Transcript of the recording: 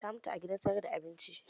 Ta mutu a gidan sayar da abincin